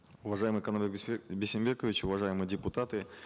уважаемый бейсенбекович уважаемые депутаты